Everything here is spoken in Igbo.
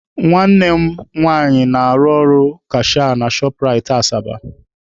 Nwanne m nwanyị na-arụ ọrụ kashịa na Shọp Rait Asaba.